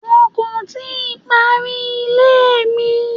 Wọ́n kò tíì parí ilé mi.